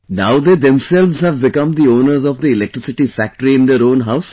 Now they themselves have become the owners of the electricity factory in their own houses